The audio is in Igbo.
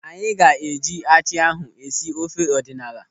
Anyị ga-eji achị ahụ esi ofe ọdịnala.